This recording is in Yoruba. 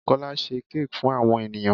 Bùkólá se cake fún àwon ènìyãn